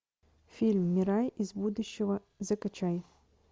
фильм мирай из будущего закачай